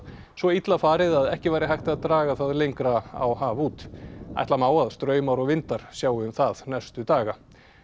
svo illa farið að ekki væri hægt að draga það lengra á haf út ætla má að straumar og vindar sjái um það næstu daga